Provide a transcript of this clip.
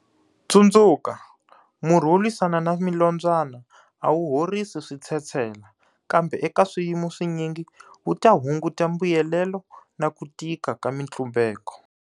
Tsundzuka, murhi wo lwisana na milombyana a wu horisi switshetshela, kambe eka swiyimo swinyingi, wu ta hunguta mbuyelelo na ku tika ka mitlumbeko.